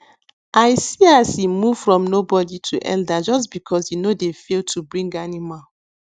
i see as e move from nobody to elder just because e no dey fail to bring animal